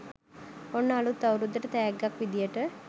ඔන්න අලුත් අවුරුද්දට තැග්ගක් විදියට